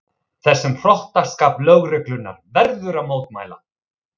Þessum hrottaskap lögreglunnar verður að mótmæla